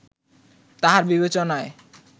তাঁহার বিবেচনায়